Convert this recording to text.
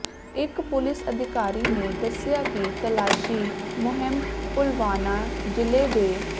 ਇੱਕ ਪੁਲਿਸ ਅਧਿਕਾਰੀ ਨੇ ਦੱਸਿਆ ਕਿ ਤਲਾਸ਼ੀ ਮੁਹਿੰਮ ਪੁਲਵਾਮਾ ਜ਼ਿਲ੍ਹੇ ਦੇ